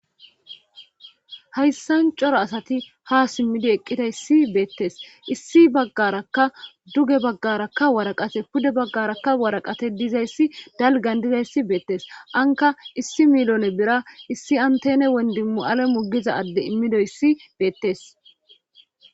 hayssan cora asati ha simmidi eqqidayssi beettes issi baggarakka duge baggarakka waraqate pude baggarakka waraqate dizayssi dalgan dizayssi beettes anka issi milone bira issi antene wondimu7ale mugiza adde immidoyssi beettes